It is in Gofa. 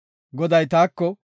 Goday taako,